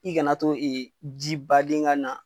I kana to ee ji baden ka na.